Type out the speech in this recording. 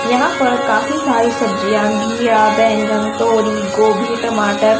यहां पर काफी सारी सब्जियां घीया बैंगन तोरी गोभी टमाटर--